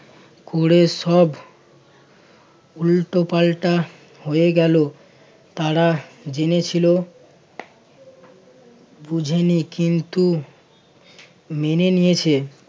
কুরে সব উল্টোপাল্টা হয়ে গেল তারা জেনেছিল বুঝিনি কিন্তু মেনে নিয়েছে